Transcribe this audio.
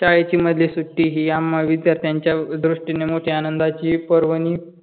शाळेची मधली सुट्टी ही आम्हा विद्यार्थ्यांच्या दृष्टीने मोठी आनंदाची परभणी